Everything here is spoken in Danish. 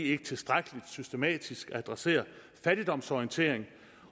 ikke tilstrækkelig systematisk adresserer fattigdomsorientering